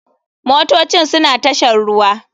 Motocin suna tashar ruwa.